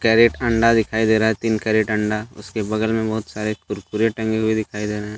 एक अंडा दिखाई दे रहा है तीन कैरट अंडा उसके बगल में बहुत सारे कुरकुरे टंगे हुए दिखाई दे रहे --